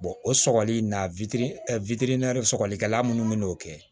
o sɔgɔli in na sɔgɔlikɛla munnu bi n'o kɛ